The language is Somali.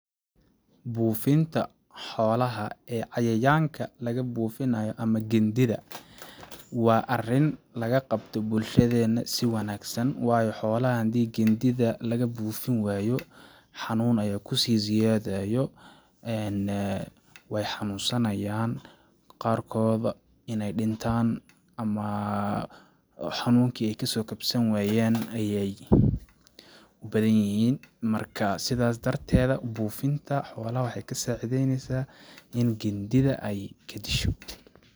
Buufinta xoolaha ee cayayaanka laga buufinaayo ama gandida waa arin laga qabto bulshadeena si wanaagsan waayo xoolaha hadii gandida laga buufin waayo xanuun ayaa kusii ziyaadayo weey xanuun sanayaan qaar kood ineey dhintaan ama xanuunki ay kasoo kabsan wayaan ayeey u badan yihiin ,marka sidaas darteeda buufinta xoolaha waxeey ka saacideyneysaa in ay gandida ka disho.